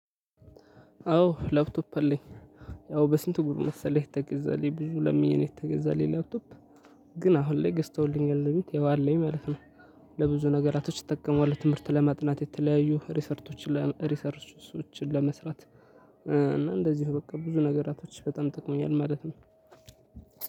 አዎ ላፕቶፕ አለኝ። ያው በስንት ጉድ መሰለህ የተገዛለኝ። ብዙ ለምኜ ነው የተገዛለኝ ላፕቶፕ ግን አሁን ላይ ገዝተውልኛል እቤት ያው አለኝ ማለት ነው። ለብዙ ነገራቶች እጠቀመዋለሁ። ትምህርት ለማጥናት የተለያዩ ሪሰርቾችን ለመስራት እና እንደዚሁም ለብዙ ነገራቶች በጣም ጠቅሞኛል ማለት ነው።